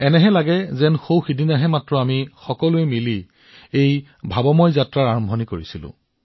এনেকুৱা লাগে এয়া যেন সৌ সিদিনাৰ ঘটনাহে যেতিয়া আমি সকলোৱে একেলগে এই আদৰ্শগত যাত্ৰা আৰম্ভ কৰিছিলো